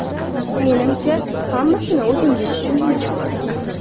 Menimcha, hammasini o‘zingiz tushundingiz.